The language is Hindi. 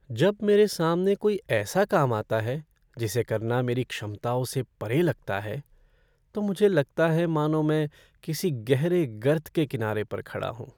जब मेरे सामने कोई ऐसा काम आता है जिसे करना मेरी क्षमता से परे लगता है, तो मुझे लगता है मानो मैं किसी गहरे गर्त के किनारे पर खड़ा हूँ।